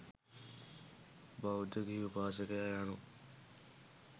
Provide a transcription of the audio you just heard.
බෞද්ධ ගිහි උපාසකයා යනු